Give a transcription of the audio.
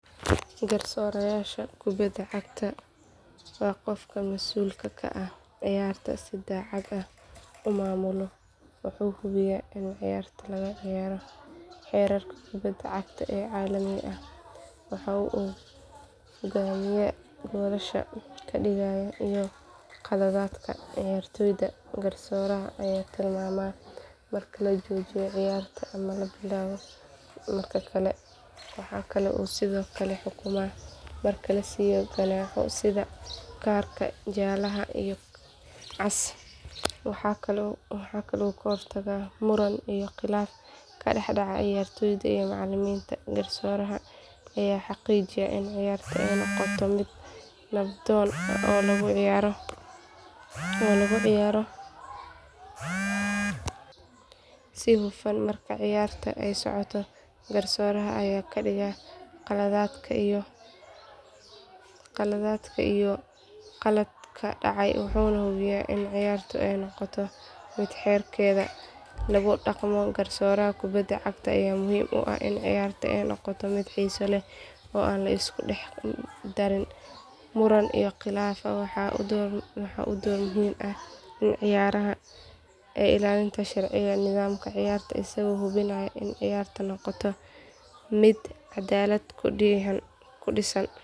Garsooraha kubada cagta waa qofka masuulka ka ah inuu ciyaarta si cadaalad ah u maamulo, waxuu hubiyaa in ciyaarta lagu ciyaaro xeerarka kubada cagta ee caalamiga ah, waxa uu go’aamiyaa goolasha la dhaliyay iyo khaladaadka ciyaartoyda, garsooraha ayaa tilmaama marka la joojiyo ciyaarta ama la bilaabo mar kale, waxa uu sidoo kale xukmaa marka la siiyo ganaaxyo sida kaarka jaalaha ah iyo cas, waxa uu ka hortagaa muran iyo khilaaf ka dhex dhaca ciyaartoyda iyo macalimiinta, garsooraha ayaa xaqiijiya in ciyaarta ay noqoto mid nabdoon oo lagu ciyaaro si hufan, marka ciyaarta ay socoto garsooraha ayaa ka digaa khaladaadka iyo qaladaadka dhacay wuxuuna hubiyaa in ciyaarta ay noqoto mid xeerarka lagu dhaqmo, garsooraha kubada cagta ayaa muhiim u ah in ciyaarta ay noqoto mid xiiso leh oo aan la isku dhex darin muran iyo khilaaf, waxa uu door muhiim ah ka ciyaaraa ilaalinta sharciyada iyo nidaamka ciyaarta isagoo hubinaya in ciyaartu noqoto mid cadaalad ku dhisan.